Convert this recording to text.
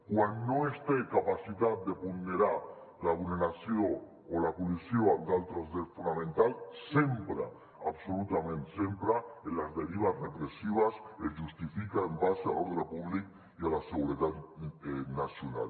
quan no es té capacitat de ponderar la vulneració o la col·lisió amb d’altres drets fonamentals sempre absolutament sempre en les derives repressives es justifica en base a l’ordre públic i a la seguretat nacional